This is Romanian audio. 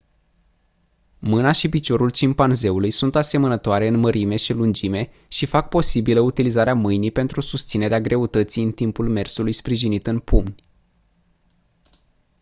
mâna și piciorul cimpanzeului sunt asemănătoare în mărime și lungime și fac posibilă utilizarea mâinii pentru susținerea greutății în timpul mersului sprijinit în pumni